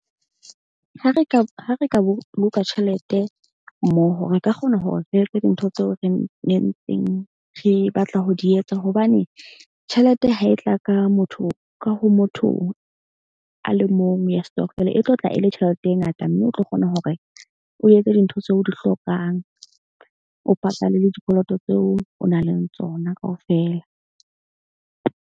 Ha re ka ka boloka tjhelete mmoho, re ka kgona hore re etse dintho tseo re nentseng re batla ho di etsa. Hobane tjhelete ha e tla ka motho ka ho motho a le mong ya stokvel e tlo tla e le tjhelete e ngata. Mme o tlo kgona hore o etse dintho tseo o di hlokang, o patale le dikoloto tseo o nang le tsona kaofela.